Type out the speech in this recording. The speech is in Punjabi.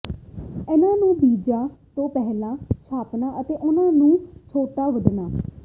ਇਹਨਾਂ ਨੂੰ ਬੀਜਾਂ ਤੋਂ ਪਹਿਲਾਂ ਛਾਪਣਾ ਅਤੇ ਉਹਨਾਂ ਨੂੰ ਛੋਟਾ ਵੱਢਣਾ